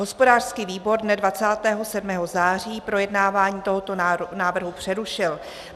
Hospodářský výbor dne 27. září projednávání tohoto návrhu přerušil.